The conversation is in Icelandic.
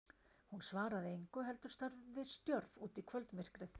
Hún svaraði engu heldur starði stjörf út í kvöldmyrkrið.